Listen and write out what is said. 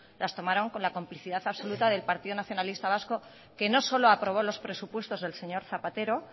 las tomaron con la complicidad absoluta del partido nacionalista vasco que no solo aprobó los presupuestos del señor zapatero